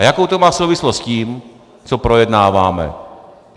A jakou to má souvislost s tím, co projednáváme?